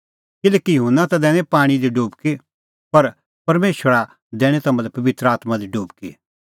किल्हैकि युहन्ना ता दैनी पाणीं दी डुबकी पर परमेशरा दैणीं तम्हां लै पबित्र आत्मां दी डुबकी